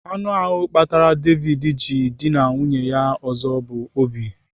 Anụ ahụ kpatara David ji dịna nwunye onye ọzọ bụ Obi.